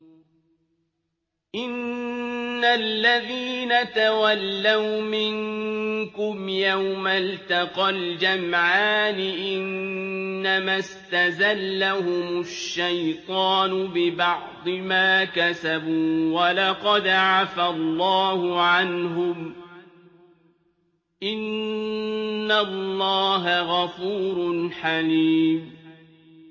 إِنَّ الَّذِينَ تَوَلَّوْا مِنكُمْ يَوْمَ الْتَقَى الْجَمْعَانِ إِنَّمَا اسْتَزَلَّهُمُ الشَّيْطَانُ بِبَعْضِ مَا كَسَبُوا ۖ وَلَقَدْ عَفَا اللَّهُ عَنْهُمْ ۗ إِنَّ اللَّهَ غَفُورٌ حَلِيمٌ